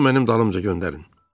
Onu mənim dalımca göndərin.